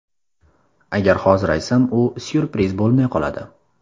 Agar hozir aytsam, u syurpriz bo‘lmay qoladi.